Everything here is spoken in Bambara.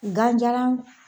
Ganjalan